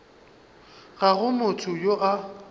ga go motho yo a